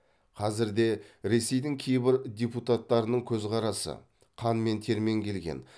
қазір де ресейдің кейбір депутаттарының көзқарасы қан мен термен келген